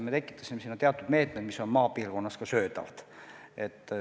Me tekitasime teatud meetmed, mis on maapiirkonnas ka söödavad.